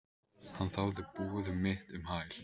Hann þáði boð mitt um hæl.